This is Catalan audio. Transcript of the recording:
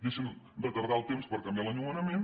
deixen retardar el temps per canviar l’enllumenament